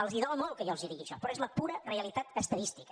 els dol molt que jo els digui això però és la pura realitat estadística